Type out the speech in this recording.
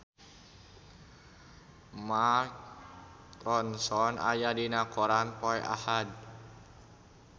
Mark Ronson aya dina koran poe Ahad